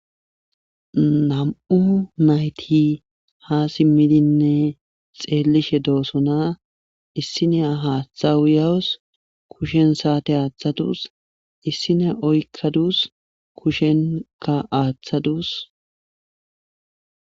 nam7u nayti ha simmidinne xeellishe doosona issinea haaththa uyawus kushen saate aaththadus issine oykkadus kushenka aaththadus